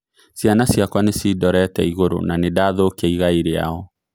Ciana ciakwa nĩ cindorete igũrũ na nĩ ndathũkia igai rĩao."